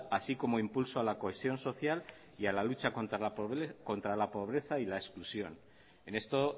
así como impulso a la cohesión social y a la lucha contra la pobreza y la exclusión en esto